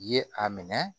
Ye a minɛ